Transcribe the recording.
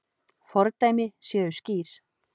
Fordæmi séu skýr.